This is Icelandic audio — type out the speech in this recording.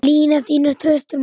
Lina þínar þrautir má.